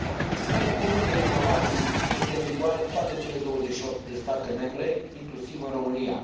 Sistemul comun de informații este în vigoare în toate cele 28 de state membre, inclusiv în România.